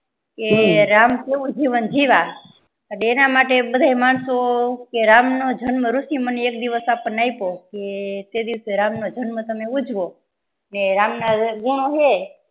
કે રામ કેહવું જીવન જીવ્યા તેના માટે બાધા માણસો રામ નો જનમ ઋષી મુનિ એ એક દિવસ આપણને આયપો કે તે દીવસે રામ જન્મ તમે ઉજવો ને રામ ના ગુણો હે